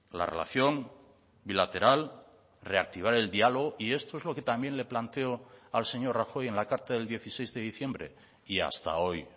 la relación bilateral reactivar el diálogo y esto es lo que también le planteo al señor rajoy en la carta del dieciséis de diciembre y hasta hoy